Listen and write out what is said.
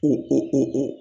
U